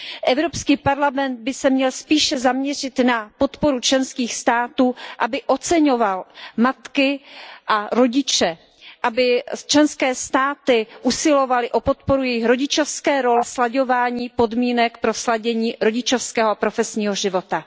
Evropský parlament by se měl spíše zaměřit na podporu členských států, aby oceňoval matky a rodiče, aby členské státy usilovaly o podporu jejich rodičovské role a slaďování podmínek pro sladění rodičovského a profesního života.